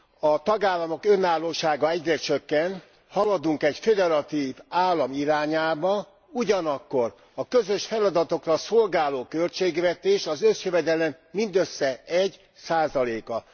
A tagállamok önállósága egyre csökken, haladunk egy föderatív állam irányába, ugyanakkor a közös feladatokra szolgáló költségvetés az összjövedelem mindössze 1 a.